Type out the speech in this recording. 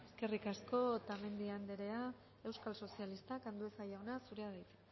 eskerrik asko otamendi anderea euskal sozialistak andueza jauna zurea da hitza